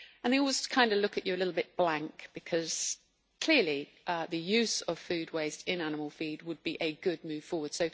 And they always kind of look at you a little bit blankly because clearly the use of food waste in animal feed would be a good move forward.